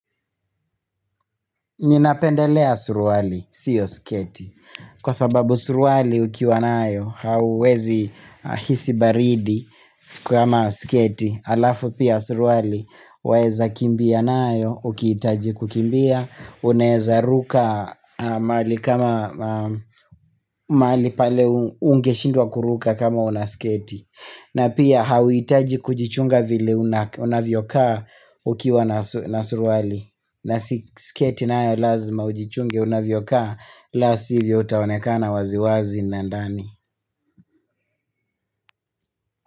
Ninapendelea suruali, sio sketi. Kwa sababu suruali ukiwa nayo hauwezi hisi baridi kama sketi. Alafu pia suruali waeza kimbia nayo, ukiitaji kukimbia, unaeza ruka mahali kama mahali pale ungeshindwa kuruka kama una sketi. Na pia hauhitaji kujichunga vile unavyokaa ukiwa na suruali na sketi naya lazima ujichunge unavyokaa la sivyo utaonekana waziwazi na ndani.